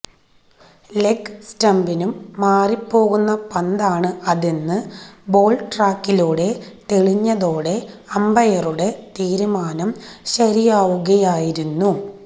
leg സ്റ്റംപിനും മാറി പോകുന്ന പന്താണ് അതെന്ന് ബോള് ട്രാക്കറിലൂടെ തെളിഞ്ഞതോടെ അമ്പയറുടെ തീരുമാനം ശരിയാവുകയായിരുന്നു